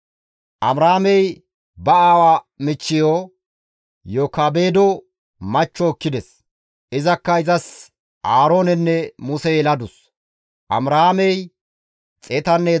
Amiraamey ba aawaa michcheyo Yokaabedo machcho ekkides. Izakka izas Aaroonenne Muse yeladus. Amiraamey 137 layth de7ides.